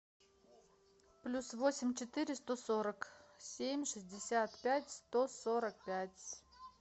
плюс восемь четыре сто сорок семь шестьдесят пять сто сорок пять